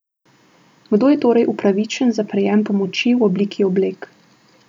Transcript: Kdo je torej upravičen za prejem pomoči v obliki oblek?